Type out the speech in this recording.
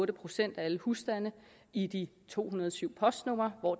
procent af alle husstande i de to hundrede og syv postnumre hvor